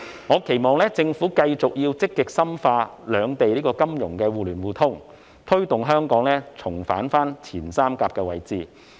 我期望政府繼續積極深化兩地的金融互聯互通，推動香港重返前三甲位置。